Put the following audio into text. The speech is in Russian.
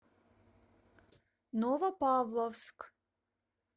новопавловск